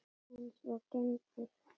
Eins og gengur.